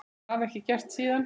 Og hafa ekki gert síðan.